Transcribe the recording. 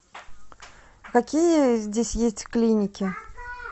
какие здесь есть клиники